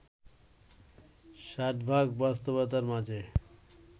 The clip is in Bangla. ষাটভাগ বাস্তবতার মাঝে